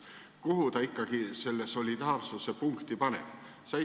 Kuhu ta ikkagi selle solidaarsuse punkti paneb?